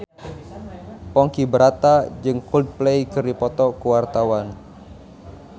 Ponky Brata jeung Coldplay keur dipoto ku wartawan